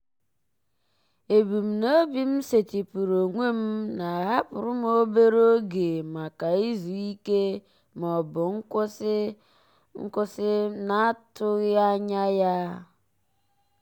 ebumnobi m setịpụrụ onwe m na-ahapụrụ m obere oge maka izu ike ma ọ bụ nkwụsị m na-atụghị anya ya.